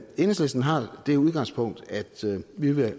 enhedslisten har det udgangspunkt at vi vil